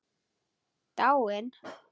Dáin?